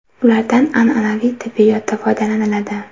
Ulardan an’anaviy tibbiyotda foydalaniladi.